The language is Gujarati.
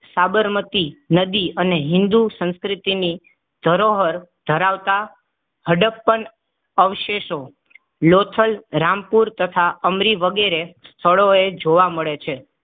સાબરમતી નદી અને હિન્દુ સંસ્કૃતિની ધરોહર ધરાવતા હડપ્પન અવશેષો લોથલ રામપુર તથા અમરી વગેરે સ્થળોએ જોવા મળે છે.